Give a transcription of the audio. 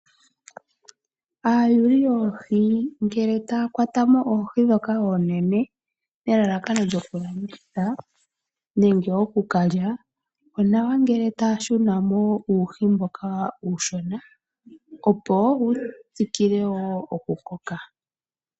Aayuli yoohi ngele taya kwata mo oohi ndhoka oonene nelalakano lyokulanditha nenge okukalya onawa ngele taya shuna mo uuhi mboka uushona opo wu tsikile wo okukoka.